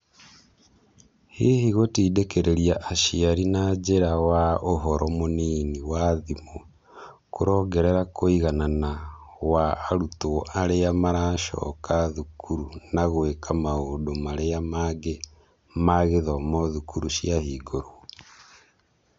Hihi gũtindĩkirĩria aciari na njĩra wa ũhoro mũnini wa thimũ kurongerera kũiganana wa arutwo arĩa maracoka thukuru na gũĩka maũndũ marĩa mangĩ ma gĩthomo thukuru cia hingũrwo ?